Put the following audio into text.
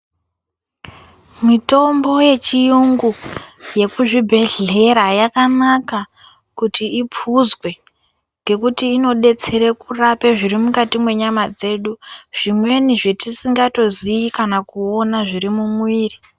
Mitombo yechiyungu yekuzvibhedhllera yakanaka kuti iphuzwe ngekuti inodetsere kurape zviri mukati mwenyama dzedu zvimweni zvetisingatozivi kana kuona zviri mumwiri.